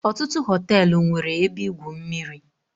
Ọtụtụ họtelụ nwere ebe igwu mmiri.